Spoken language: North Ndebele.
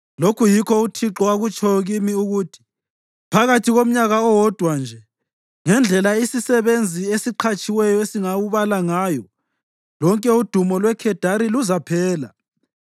Lokhu yikho uThixo akutshoyo kimi ukuthi: “Phakathi komnyaka owodwa nje, njengendlela isisebenzi esiqhatshiweyo esingawubala ngayo, lonke udumo lweKhedari luzaphela.